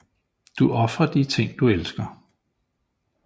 Du ofrer de ting du elsker